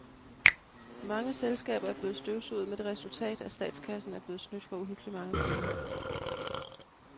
Mange selskaber er blevet støvsuget med det resultat, at statskassen er blevet snydt for uhyggeligt mange penge.